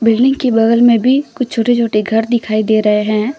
Building के बगल में भी कुछ छोटे छोटे घर दिखाई दे रहे हैं।